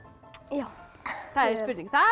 já það er spurning það